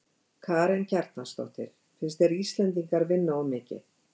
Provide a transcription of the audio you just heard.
Karen Kjartansdóttir: Finnst þér Íslendingar vinna of mikið?